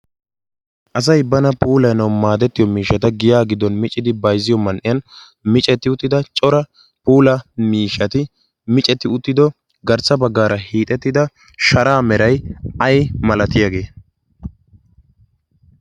asay bana puulaynawu maadettiyo miishata giya giddon micidi baizziyo man'iyan micetti uttida cora puula miishati micetti uttido garssa baggaara hiixettida sharaa meray ay malatiyaagee?